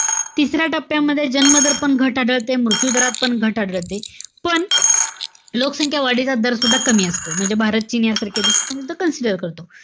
तिसऱ्या टप्प्यामध्ये जन्म दर पण घट आढळते. मृत्यू दरात पण घट आढळते. पण, लोकसंख्या वाढीचा दर सुद्धा कमी असतो. म्हणजे भारत, चीन यासारख्या देश यात आपण consider करतो.